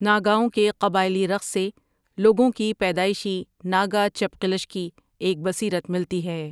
ناگاوں کے قبائلی رقص سے لوگوں کی پیدائشی ناگا چپقلش کی ایک بصیرت ملتی ہے۔